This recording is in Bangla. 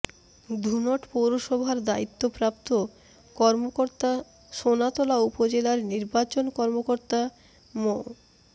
ধুনট পৌরসভার দায়িত্বপ্রাপ্ত কর্মকর্তা সোনাতলা উপজেলার নির্বাচন কর্মকর্তা মো